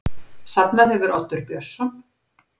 Safnað hefur Oddur Björnsson.